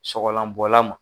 Sɔgɔlanbɔlan ma